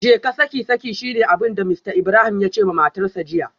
Jeka saki saki shine abinda Mr Ibrahim yace da matarsa ​​jiya